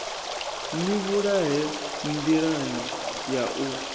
ni vhulahela nḓilani ya u